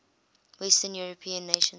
western european nations